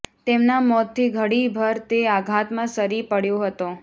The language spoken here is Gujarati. તેમના મોતથી ઘડી ભર તે આઘાતમાં સરી પડ્યો હતો